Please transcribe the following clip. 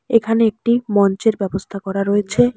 এখানে একটি মঞ্চের ব্যবস্থা করা রয়েছে।